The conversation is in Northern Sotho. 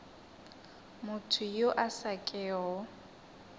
motho yo a sa kego